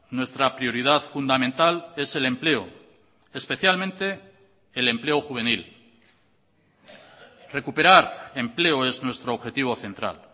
nuestra prioridad fundamental es el empleo especialmente el empleo juvenil recuperar empleo es nuestro objetivo central